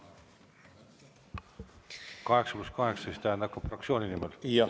Kas see 8 + 8 tähendab siis, et ka fraktsiooni nimel?